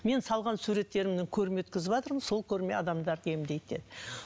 мен салған суреттерімнен көрме өткізіватырмын сол көрме адамдарды емдейді деді